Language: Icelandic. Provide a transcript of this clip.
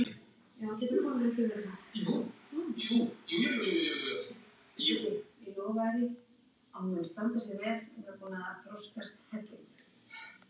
Elsku amma, takk fyrir mig.